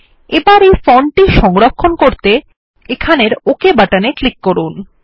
এবার এই ফন্ট টি সংরক্ষণ করতে এখানের ওক বাটনে ক্লিক করুন